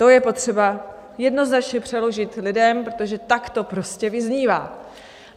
To je potřeba jednoznačně přeložit lidem, protože tak to prostě vyznívá.